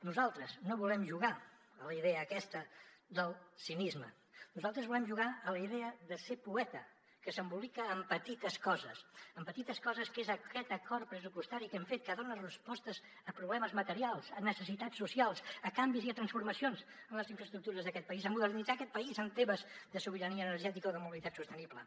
nosaltres no volem jugar a la idea aquesta del cinisme nosaltres volem jugar a la idea de ser poeta que s’embolica en petites coses en petites coses com aquest acord pressupostari que hem fet que dona respostes a problemes materials a necessitats socials a canvis i a transformacions en les infraestructures d’aquest país en modernitzar aquest país en temes de sobirania energètica o de mobilitat sostenible